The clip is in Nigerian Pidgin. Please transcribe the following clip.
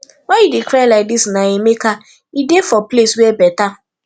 why you dey cry like dis na emeka e dey for place where better